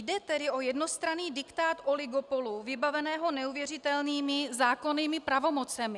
Jde tedy o jednostranný diktát oligopolu vybaveného neuvěřitelnými zákonnými pravomocemi.